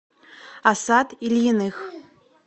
асад ильиных